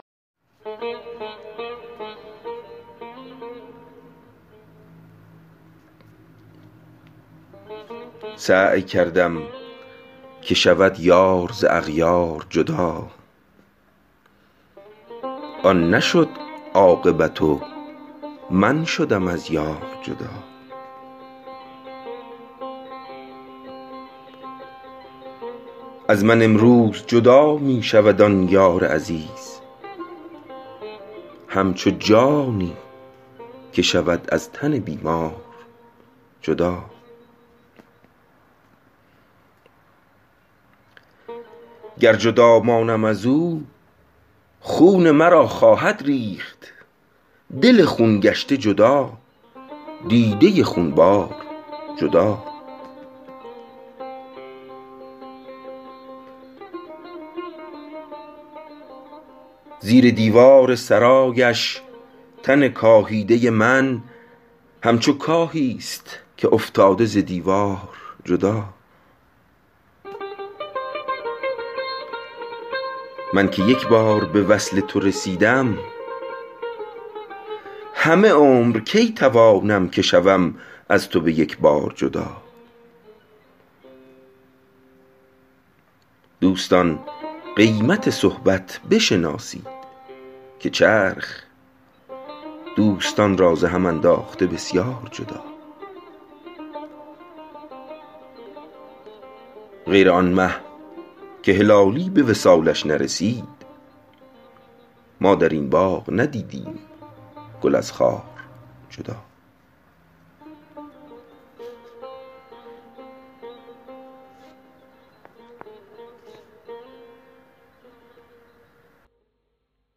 سعی کردم که شود یار ز اغیار جدا آن نشد عاقبت و من شدم از یار جدا از من امروز جدا می شود آن یار عزیز همچو جانی که شود از تن بیمار جدا گر جدا مانم از او خون مرا خواهد ریخت دل خون گشته جدا دیده خونبار جدا زیر دیوار سرایش تن کاهیده من همچو کاهیست که افتاده ز دیوار جدا من که یک بار به وصل تو رسیدم همه عمر کی توانم که شوم از تو به یک بار جدا دوستان قیمت صحبت بشناسید که چرخ دوستان را ز هم انداخته بسیار جدا غیر آن مه که هلالی به وصالش نرسید ما در این باغ ندیدیم گل از خار جدا